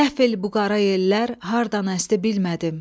Qəfil bu qara yellər hardan əsdi bilmədim.